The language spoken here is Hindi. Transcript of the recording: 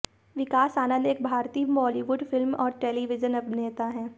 विकास आनंद एक भारतीय बॉलीवुड फिल्म और टेलीविजन अभिनेता हैं